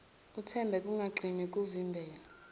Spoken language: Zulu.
uthambe ungaqini kuvimbela